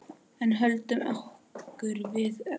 En höldum okkur við efnið.